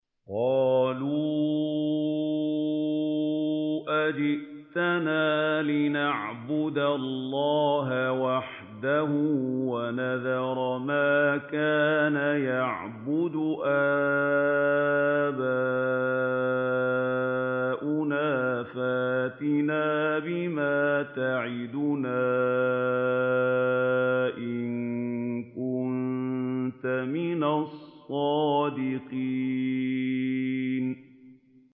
قَالُوا أَجِئْتَنَا لِنَعْبُدَ اللَّهَ وَحْدَهُ وَنَذَرَ مَا كَانَ يَعْبُدُ آبَاؤُنَا ۖ فَأْتِنَا بِمَا تَعِدُنَا إِن كُنتَ مِنَ الصَّادِقِينَ